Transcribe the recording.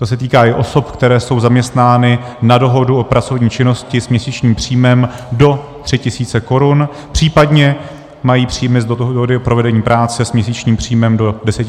To se týká i osob, které jsou zaměstnány na dohodu o pracovní činnosti s měsíčním příjmem do 3 tisíc korun, případně mají příjmy z dohody o provedení práce s měsíčním příjmem do 10 tisíc.